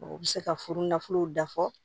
U bɛ se ka furu nafolow dafɔ